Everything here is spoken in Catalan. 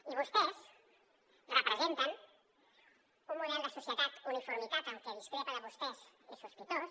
i vostès representen un model de societat uniforme en què qui discrepa de vostès és sospitós